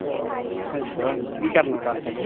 ਅੱਛਾ ਕੀ ਕਰਨਾ ਕੱਲ ਫਿਰ